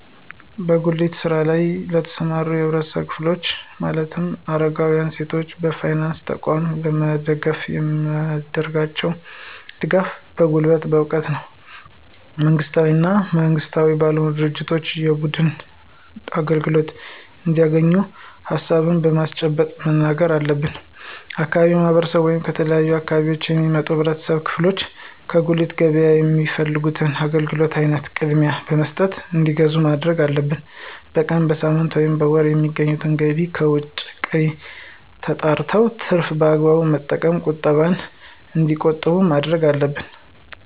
በጉሊት ስራ ለይ ለተሰማሩ የህብረተሰብ ክፍሎች ማለትም አረጋውያን፣ ሴቶችን በፋይናንስ ተቋም ለመደገፍ የምናደርጋቸው ድጋፎች በጉልበት፣ በእውቀት ነው። መንግስታዊ እና መንግስታዊ ባልሆኑ ድርጅቶች የብድር አገልግሎት እንዲያገኙ ሀሳቡን በማመንጨት መናገር አለብን። የአካባቢው ማህረሰብ ወይም ከተለያዩ አካባቢዎች የሚመጡ የህብረተሰብ ክፍሎች ከጉሊት ገበያ የሚፈልጉት የአገልግሎት አይነት ቅድሚያ በመስጠት እንዲገዙ ማድረግ አለብን። በቀን፣ በሳምንት፣ ወይም በወር የሚያገኙትን ገቢ ከወጭ ቀሪ የተጣራውን ትርፍ በአግባቡ በመጠቀም ቁጠባ እንዲቆጥቡ ማድረግ አለብን።